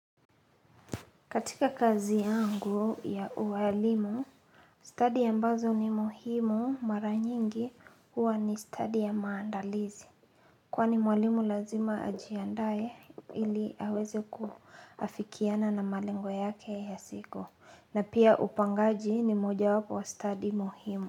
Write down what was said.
Katika kazi yangu ya uwalimu, study ambazo ni muhimu mara nyingi huwa ni study ya maandalizi. Kwani mwalimu lazima ajiandae ili aweze kuafikiana na malengo yake ya siku. Na pia upangaji ni mojawapo wa study muhimu.